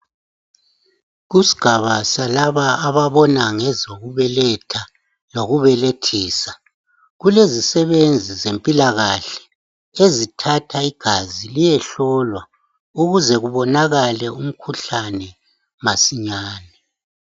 Kusigaba salaba ababona ngezokubeletha lokubelethisa, kulezisebenzi zempilakahle ezithatha igazi liyehlolwa ukuze kubonakale umkhuhlane masinyane.